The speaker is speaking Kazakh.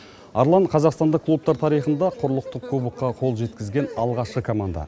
арлан қазақстандық клубтар тарихында құрлықтық кубокқа қол жеткізген алғашқы команда